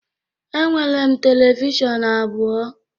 Enwere m televishọn abụọ